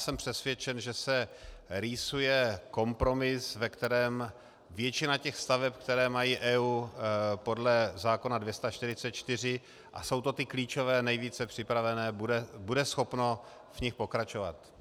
Jsem přesvědčen, že se rýsuje kompromis, ve kterém většina těch staveb, které mají EIA podle zákona 244, a jsou to ty klíčové, nejvíce připravené, bude schopno v nich pokračovat.